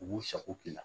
U b'u sago k'i la